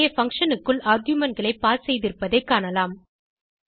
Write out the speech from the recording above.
இங்கே பங்ஷன் க்குள் argumentகளை பாஸ் செய்திருப்பதை காணலாம்